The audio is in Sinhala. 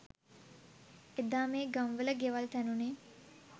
එදා මේ ගම්වල ගෙවල් තැනුනේ